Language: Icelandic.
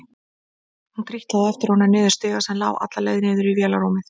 Hún trítlaði á eftir honum niður stiga sem lá alla leið niður í vélarrúmið.